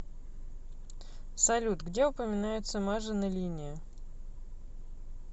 салют где упоминается мажино линия